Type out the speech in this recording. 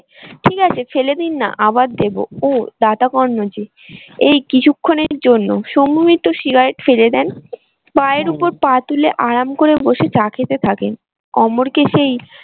ঠিক আছে ফেলে দিন না আবার দেবো ও দাতা কর্ন যে এই কিছুক্ষণের জন্য শম্ভু মিত্র সিগারেট ফেলে দেন ওপর পা তুলে আরাম করে বসে চা খেতে থাকেন। অমর কে সেই